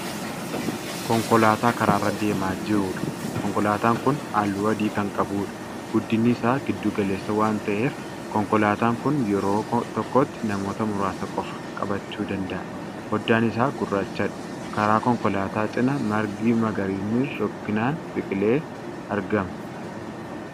Konkolaataa karaarra deemaa jiruudha. konkolaataan Kuni halluu adii Kan qabudha. guddinni Isaa giddu-galeessa waan ta'eef konkolaataan Kuni yeroo tokkotti namoota muraasa qofa. qabachuu danda'a. foddaan isaa gurrachadha. karaa konkolaataa cinaa margi magariisni rukkinaan biqilee argama.